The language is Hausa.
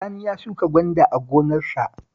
Sani ya shuka gwanda a gonarsa